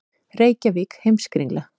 Reykjavík: Heimskringla.